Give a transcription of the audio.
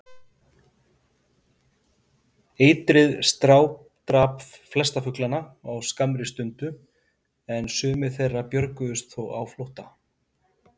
Eitrið strádrap flesta fuglana á skammri stund, en sumir þeirra björguðust þó á flótta.